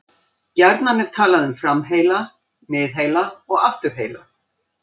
Gjarnan er talað um framheila, miðheila og afturheila.